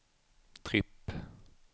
tripp